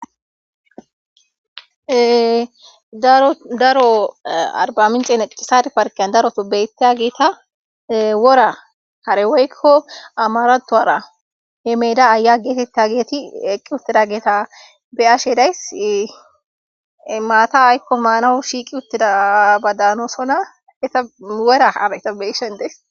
Daro arbamicce necci saare parkke giddon daroso beetiya wora hare woyko amaaraththora ye meeda ahya geetetiyaget eqi uttiyaeta be7ashe days maata ayko maanas shiiqi uttida guusako.